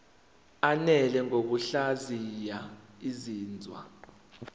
ananele ngokuhlaziya izinzwa